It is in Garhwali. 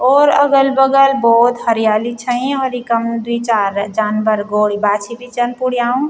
और अगल बगल भौत हरयाली छयीं और इकम द्वि चार जानवर गोडी बाछी भी छन पुड्याऊ।